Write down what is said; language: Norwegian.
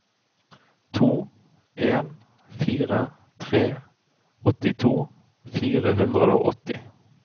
to en fire tre åttito fire hundre og åtti